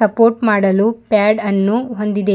Support ಮಾಡಲು pad ಅನ್ನು ಹೊಂದಿದೆ.